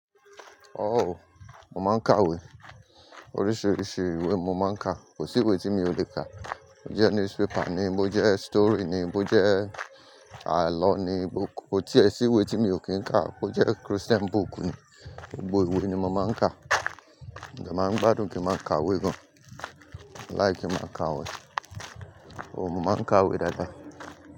Mo máa ń ka ìwé. Oríṣiiríṣii ìwé mo máa ń ka. Kò sí ìwé tí mi ò lè kà. Ó jẹ́ newspaper ni, bó jẹ́ story ni, bó jẹ́ àlọ́ ni, bó-- kò tíe sí ìwé tí mi ò kí ń kà. Bó jẹ́ Christian book ni, gbogbo ìwé ni mo máa ń kà. Mo dẹ máa ń gbádùn kí n máa ka ìwé gan. Mo like ki n máa ka ìwé. But mo màá ń ka ìwé dáadáa.